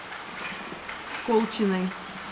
колчиной